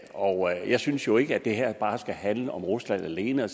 og jeg synes jo ikke at det her bare skal handle om rusland alene